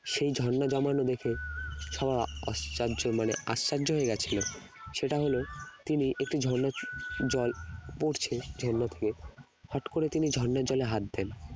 সেই ঝর্ণা জমানো দেখে সবাই আশ্চর্য মানে আশ্চর্য হয়ে গেছিল সেটা হলো তিনি একটি ঝর্ণার জল পড়ছে ঝর্ণা থেকে হঠাৎ করে তিনি ঝর্ণার জলে হাত দেন